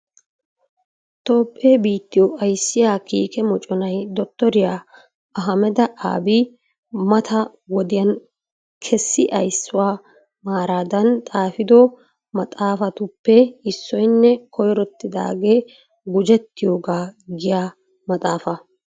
Toophee biittiyo ayssiyaa kiikke moocconay Dottoriya Ahammeda Aabi mata wodiyaan kesi ayssuwaa maaradan xaafido maaxatuppe issoynne koyrotiyaagee gujetiyooga giyaa maxaafaa.